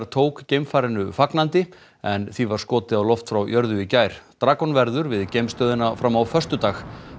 tók geimfarinu fagnandi en því var skotið á loft frá jörðu í gær verður við geimstöðina fram á föstudag